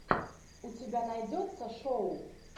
у тебя найдется шоу